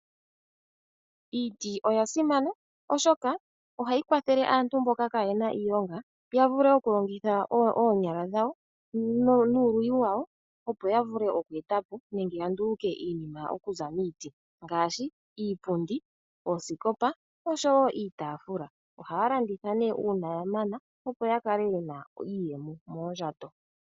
Iiti oya simana oshoka ohayi kwathele aantu mboka kaayena iilonga ya vule okulongitha oonyala dhawo nuuluyi wawo, opo ya vule oku eta po nenge ya nduluke iinima okuza miiti ngaashi iipundi, oosikopa osho wo iitaafula. Ohaya landitha ne uuna ya mana opo ya kale ye na iiyemo moondjato.